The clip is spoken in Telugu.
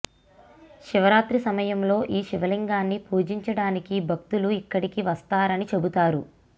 శివరాత్రి సమయంలో ఈ శివలింగాన్ని పూజించడానికి భక్తులు ఇక్కడికి వస్తారని చెబుతారు